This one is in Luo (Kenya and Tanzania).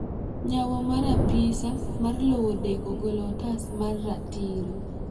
nyawo mar apisa mar lowo deko golo otas mar ratiro